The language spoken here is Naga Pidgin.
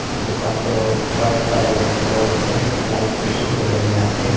dukan toh white colour floor ase light bishi cholai na ase.